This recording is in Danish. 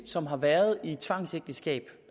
som har været i et tvangsægteskab